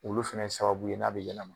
Olu fɛnɛ ye sababu ye n'a be ɲɛlɛma